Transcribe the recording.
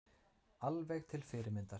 Alveg til fyrirmyndar